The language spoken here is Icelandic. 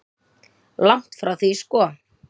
Langt því frá sko.